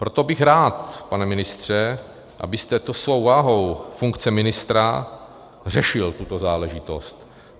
Proto bych rád, pane ministře, abyste to svou vahou funkce ministra řešil tuto záležitost.